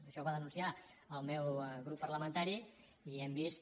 això ho va denunciar el meu grup parlamentari i hem vist